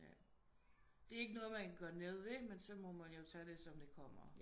Ja det er ikke noget man kan gøre noget ved men så må man jo tage det som det kommer